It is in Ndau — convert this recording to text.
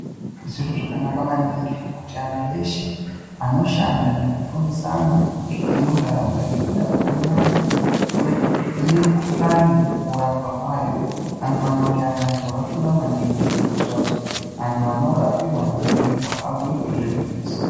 Zviro zvakanaka maningi kuti antu eshe anoshanda nekufundisa antu emuntaraunda ngekuda kwekunaka kwemikuhlani kurapwa kwayo, anofanira kunge ari antu akafunda maningi kuitira kuti antu anorapiwa nekubhuyirwa abhuyirwe zvegwinyiso.